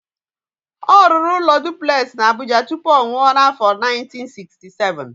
Ọ rụrụ ụlọ duplex na Abuja tupu ọ nwụọ n'afọ 1967.